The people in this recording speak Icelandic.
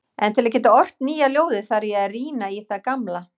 En til að geta ort nýja ljóðið þarf ég að rýna í það gamla.